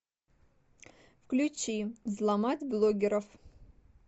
включи взломать блогеров